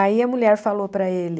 Aí a mulher falou para ele...